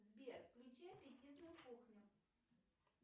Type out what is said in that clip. сбер включи аппетитную кухню